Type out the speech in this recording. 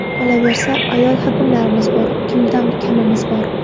Qolaversa, ayol hokimlarimiz bor, kimdan kamimiz bor.